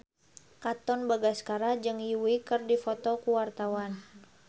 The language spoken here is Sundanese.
Katon Bagaskara jeung Yui keur dipoto ku wartawan